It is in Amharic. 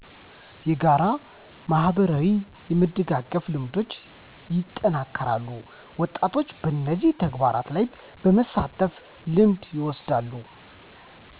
የጋራ ማህበራዊ የመደጋገፍ ልምዶች ይጠናከራሉ ወጣቶችም በነዚህ ተግባራት ላይ በመሳተፍ ልምድ ይወስዳሉ